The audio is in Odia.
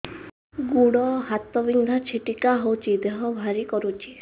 ଗୁଡ଼ ହାତ ବିନ୍ଧା ଛିଟିକା ହଉଚି ଦେହ ଭାରି କରୁଚି